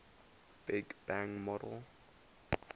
big bang model